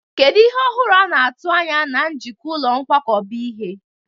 Kedu ihe ọhụrụ a na-atụ anya na njikwa ụlọ nkwakọba ihe?